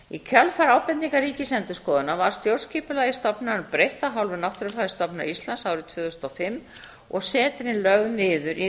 í kjölfar ábendingar ríkisendurskoðunar var stjórnskipulagi stofnunarinnar breytt af hálfu náttúrufræðistofnunar ísland árið tvö þúsund og fimm og setrin lögð niður í